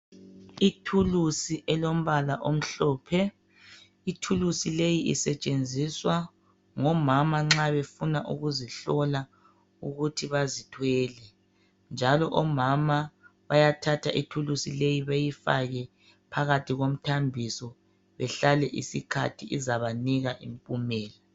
Ithulusi elombala omhlophe. Ithulusi leyi isetshenziswa ngomama nxa befuna ukuzihlola ukuthi bazithwele njalo omama bayathatha ithulusi leyi bayifake phakathi komthambiso bahlale isikhathi izabanika impumelo.